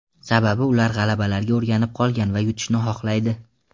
Sababi ular g‘alabalarga o‘rganib qolgan va yutishni xohlaydi.